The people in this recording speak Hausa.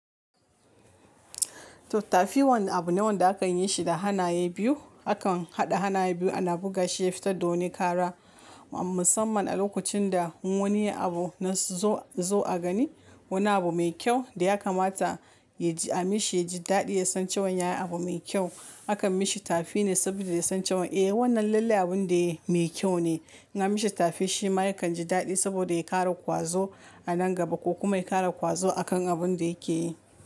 Tafi wani abu ne wanda a kan yin shi da hanaye biyu. Akan haɗa hanaye biyu ana buga shi ya fita don ya ƙara, musamman a lokacin da wani abu na zo a gani, wani abu mai kyau da ya kamata a mishi ya ji daɗi ya san cewan ya yi abu mai kyau. Akan mishi tafi ne saboda ya san cewan eh wannan lallai abun da yayi mai kyau ne. In an mishi tafi shi ma ya kan ji daɗi saboda ya ƙara ƙwazo a nan gaba ko kuma ya ƙara ƙwazo a kan abun da yake yi.